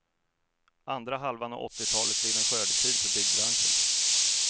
Andra halvan av åttiotalet blev en skördetid för byggbranschen.